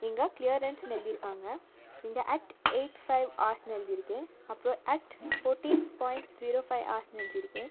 இங்க கிளியரன்ஸ்னு எழுதிருக்காங்க இங்க அட் எய்ட் ஃபைவ் ஆர்ஸ்னு எழுதிருக்கு அப்றோ at fourteen point zero five ஆர்ஸ்னு எழுதிருக்கு.